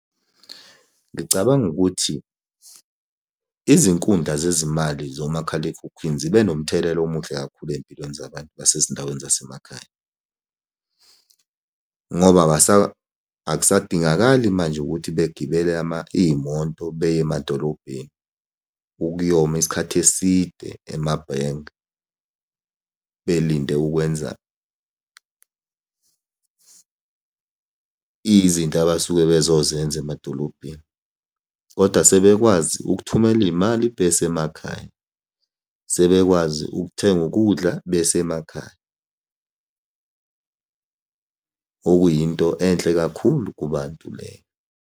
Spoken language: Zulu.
Ngicabanga ukuthi izinkundla zezimali zomakhalekhukhwini zibe nomthelela omuhle kakhulu ey'mpilweni zabantu basezindaweni zasemakhaya, ngoba akusadingakali manje ukuthi begibele iy'moto beya emadolobheni ukuyoma isikhathi eside emabhenki belinde ukwenza izinto abasuke bezozenza emadolobheni, kodwa sebekwazi ukuthumela iy'mali besemakhaya. Sebekwazi ukuthenga ukudla besemakhaya, okuyinto enhle kakhulu kubantu leyo.